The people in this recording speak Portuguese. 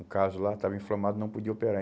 O caso lá estava inflamado, não podia operar.